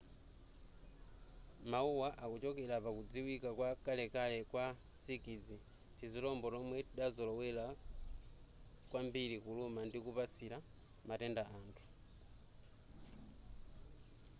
mawuwa akuchokera pakudziwika kwa kalekale kwa nsikidzi tizilombo tomwe tidazolowera kwambiri kuluma ndi kupatsira matenda anthu